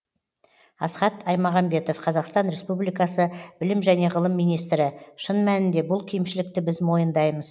асхат аймағамбетов қазақстан республикасы білім және ғылым министрі шын мәнінде бұл кемшілікті біз мойындаймыз